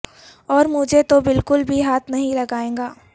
اور مجھے تو بالکل بھی ہاتھ نہیں لگائیے گا